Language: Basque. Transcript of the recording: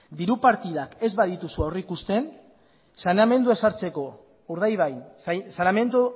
diru partidak ez badituzu aurrikusten saneamendua